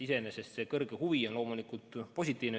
Iseenesest see suur huvi on loomulikult positiivne.